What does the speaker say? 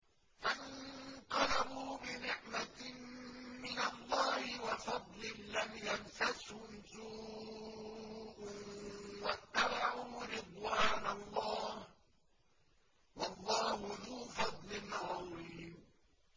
فَانقَلَبُوا بِنِعْمَةٍ مِّنَ اللَّهِ وَفَضْلٍ لَّمْ يَمْسَسْهُمْ سُوءٌ وَاتَّبَعُوا رِضْوَانَ اللَّهِ ۗ وَاللَّهُ ذُو فَضْلٍ عَظِيمٍ